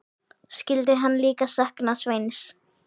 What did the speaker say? Skyldi hann líka sakna Sveins?